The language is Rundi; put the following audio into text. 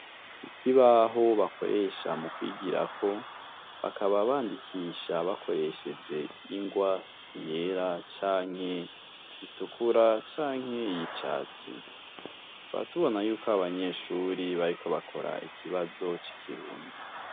Ikibaho bakoresha mu kwigirako, bakaba bandikisha bakoresheje ingwa yera canke itukura canke y'icatsi. Tukaba tubona yuko abo banyeshure bariko bakora ikibazo c'ikirundi.